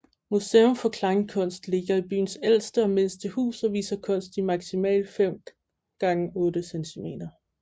Museum for Kleinkunst ligger i byens ældste og mindste hus og viser kunst i maksimalt 5x8 cm